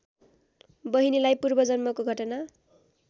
बहिनीलाई पूर्वजन्मको घटना